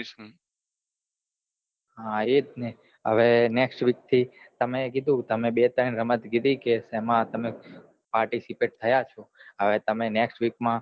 હા એ જ ને હવે next week થી તમે કીઘુ તમે બે ત્રણ રમત કીઘી કે તેમાં આપણને participate થયા છો હવે તમે next week માં